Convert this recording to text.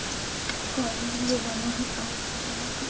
लिए बना है। कांच का बना है।